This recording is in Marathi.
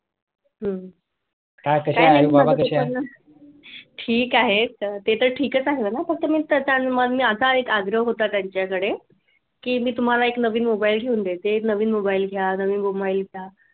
हम्म ठीक आहे स्टेटस ठीकच आहे मी फक्त ताजमहल असा आग्रह होता ना त्यांच्याकडे की मी तुम्हाला एक नवीन मोबाईल घेऊन देते एक नवीन मोबाईल घ्या एक नवीन मोबाईल घ्या